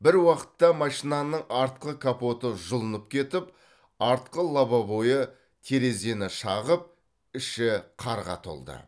бір уақытта машинаның артқы капоты жұлынып кетіп артқы лобовойы терезені шағып іші қарға толды